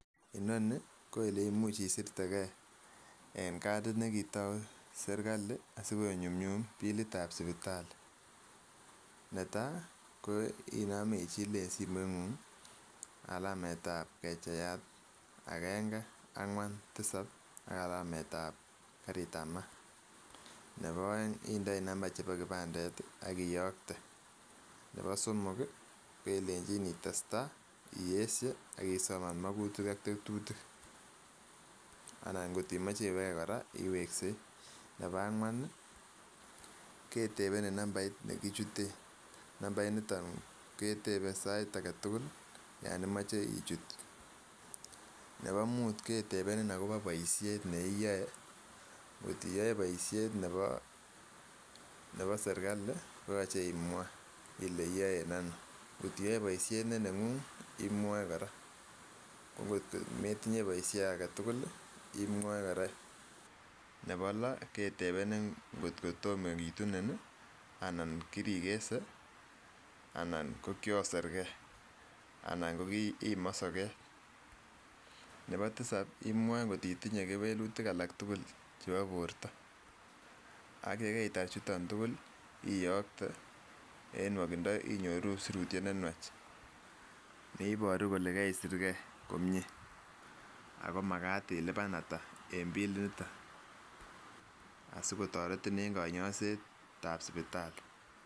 Inonii ko ole imuch isirte gee en katit nekitou sirikali asikunyumyum bilit ab sipitali, netai ko inomii ichile en simoit nguny alamet ab kecheyat agenge angwan tisab ak alamet ab karit ab maat nebo oeng indoii number chebo kipandet ak iyokte, nebo somoki kelenin itestai iyeshe ak isoman mokutik ak tetutik anan kot timoche iweke koraa iweksei. Nebo angwan nii ketepennin numbait nekichuten, numbait niton ketepe sait agentukul yon imoche ichut, nebo mut ketepenin akobo boishet ne iyoe kot tiyoe boishet nebo sirikali koyoche imwaa ile iyoe en onon kot oiyoe boishet ne nenguny imwoe koraa ko kotko metinye boisho aketukul imwoe koraa. Nebo loo ketepenin kotko tomo kitunin nii anan kirikese anan ko kioser gee anan ko imosoket, nebo tisap imwoe kot titinyee kewelutik alak tukul chebo borto ak yekeitar chutok tukul iyokte en ngwokindo inyoruu sirutyet nenywach ne iboruu kole keisir gee komie ako makat ilipan atak en bilit niton asikotoretin en bilit ab sipitali.